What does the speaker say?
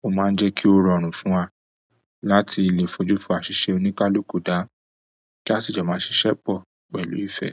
o maa n je ki o rọrùn fún wa láti le fojú fo asise onikaluku da, ti asi jo maa sise po pẹ̀lú ìfẹ́.